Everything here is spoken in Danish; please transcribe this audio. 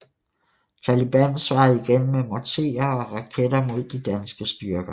Taliban svarede igen med morterer og raketter mod de danske styrker